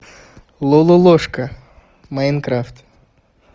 лололошка майнкрафт